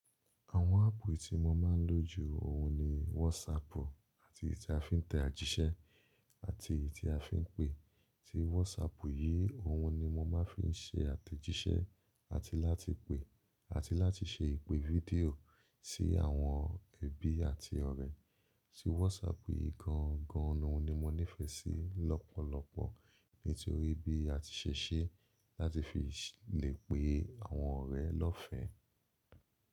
Àwọn áàpù tí mo máa ń lò ju òhun ni WhatsApp àti ìta fi ń tẹ àjíṣẹ́ àti ìta fi ń pe. Tí WhatsApp yìí òhun ni mo máa ń fi ṣe àtẹ̀jíṣẹ́ àti láti pe àti láti ṣe ìpe fídíò sí àwọn ẹbí àti ọ̀rẹ́. Tí WhatsApp yìí gan gan ni mo nífẹ́ sí lọ́pọ̀lọpọ̀ nítorí bí a ti ṣe ṣe láti fi lè pe àwọn ọ̀rẹ́ lọ́fẹ̀ẹ́.